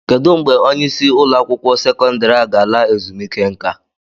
Kedụ mgbe onye isi ụlọ akwụkwọ sekọndrị a ga-ala ezumike nka?